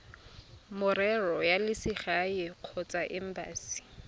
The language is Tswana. merero ya selegae kgotsa embasi